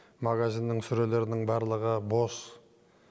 магазиннің сөрелерінің барлығы бос